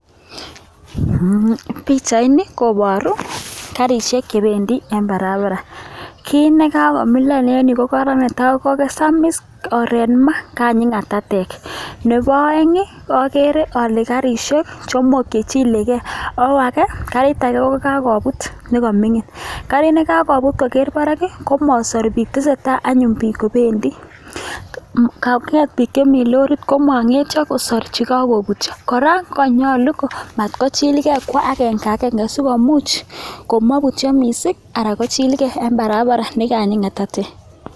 pichaini kobooru garisiek chebendii en barabara. Kit nekakomilan en ireyu ko korong netai kosamis, oret mas, kanyii ngatatek. Nebo oeng agere ale garisiek somok chechilege. Ako age kokabuut nekomingin, garit nakakobuut kokeer barak komoosor bike. Tesetai anyun biik kobendii. Anget bik chemi lorit konongetyoo kosoor chekokobutyoo. kora ko konyolu komatkochilgei, kwo agenge agenge, sikomuch komobutyo missing anan kochilgei en barabara nekanyii ngatatek.